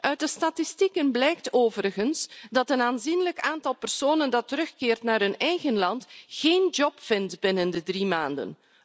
Uit de statistieken blijkt overigens dat een aanzienlijk aantal personen dat terugkeert naar hun eigen land, geen werk vindt binnen drie maanden.